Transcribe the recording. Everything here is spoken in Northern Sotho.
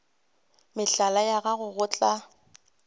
mehlala ya gago go tla